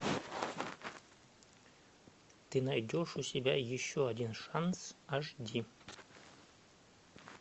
ты найдешь у себя еще один шанс аш ди